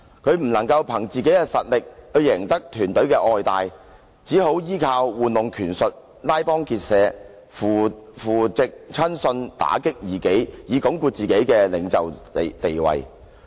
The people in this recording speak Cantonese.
他不能憑自己的實力去贏得團隊的愛戴，便依靠玩弄權術、拉幫結派、扶植親信、打擊異己，以鞏固自己的領袖地位。